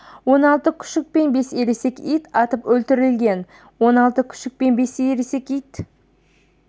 он алты күшік пен бес ересек ит атып өлтірілген он алты күшік пен бес ересек ит